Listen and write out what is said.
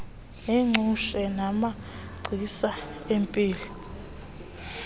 neengcutshe namagcisa empilo